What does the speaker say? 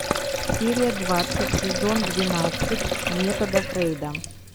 серия двадцать сезон двенадцать метода фрейда